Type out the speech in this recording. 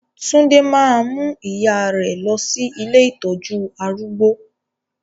Tunde máa mú ìyà rẹ lọ sí ilé ìtọ́jú arúgbó